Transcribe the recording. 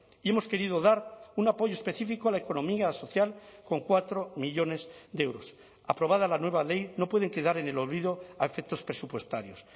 y hemos querido dar un apoyo específico a la economía social con cuatro millónes de euros aprobada la nueva ley no pueden quedar en el olvido a efectos presupuestarios